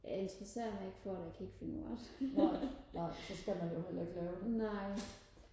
jeg interesserer mig ikke for det og jeg kan ikke finde ud af det nej